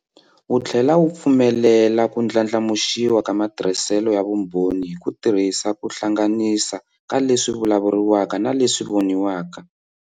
Wu tlhela wu pfumelela ku ndlandlamuxiwa ka matirhiselo ya vumbhoni hi ku tirhisa ku hlanganisa ka leswi vulavuriwaka na leswi voniwaka.